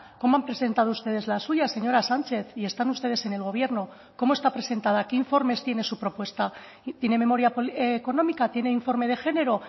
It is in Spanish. cómo han presentado ustedes la suya señora sánchez y están ustedes en el gobierno cómo está presentada qué informes tiene su propuesta tiene memoria económica tiene informe de género